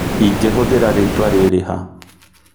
ĩngihũthĩra rĩtwa rĩrĩ ha?